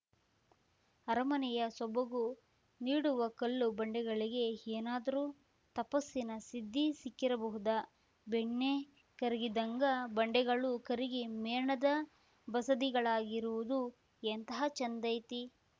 ಅರಮನೆಯ ಸೊಬಗು ನೀಡುವ ಕಲ್ಲು ಬಂಡೆಗಳಿಗೆ ಏನಾದ್ರೂ ತಪಸ್ಸಿನ ಸಿದ್ಧಿ ಸಿಕ್ಕಿರಬಹುದಾ ಬೆಣ್ಣೆ ಕರಗಿದ್ಹಂಗ ಬಂಡೆಗಳು ಕರಗಿ ಮೇಣದ ಬಸದಿಗಳಾಗಿರುವುದು ಎಂಥಾ ಚಂದೈತಿ